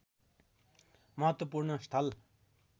महत्त्वपूर्ण स्थल